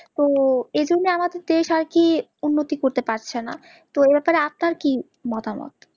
তো এজন্য আমাদের দেশ আরকি উন্নতি করতে পারছেনা, তো এব্যাপারে আপনার কি মতামত?